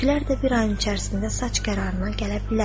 Tüklər də bir ayın içərisində saç qərarına gələ bilər.